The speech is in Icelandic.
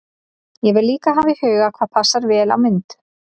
Ég verð líka að hafa í huga hvað passar vel á mynd.